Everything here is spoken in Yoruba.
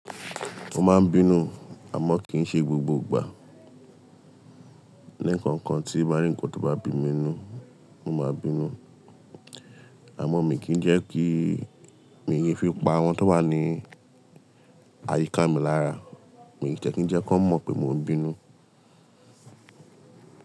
Mo máà n bínú amọ ki n ṣe gbogbo igba. Lẹ kankan tí ba rì nkán to bá bí mi nu, mo máa bínú. Àmọ́ mi kì í jẹ́ kí, mi ki fi pa àwọn tó wà ní àyíká mi lára. Mi ò tẹ́ ki n jẹ́ kí wọ́n mọ̀ pé mò ń bínú.